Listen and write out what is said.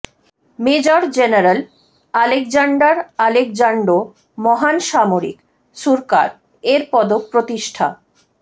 major general Alexander আলেকজান্ডো মহান সামরিক সুরকার এর পদক প্রতিষ্ঠা